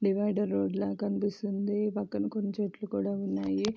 Divider road లా కనిపిస్తుంది. పక్కన కొన్ని చెట్లు కూడా ఉన్నాయి.